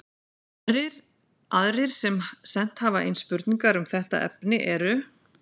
Aðrir sem sent hafa inn spurningar um þetta efni eru: